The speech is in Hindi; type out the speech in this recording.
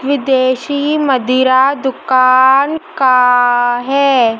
विदेशी मदिरा दुकान का है।